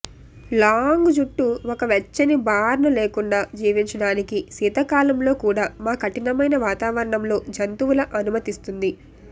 long జుట్టు ఒక వెచ్చని బార్న్ లేకుండా జీవించడానికి శీతాకాలంలో కూడా మా కఠినమైన వాతావరణం లో జంతువుల అనుమతిస్తుంది